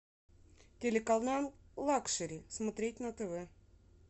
телеканал лакшери смотреть на тв